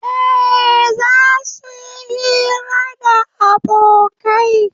Eh, zasu yi hira da abokai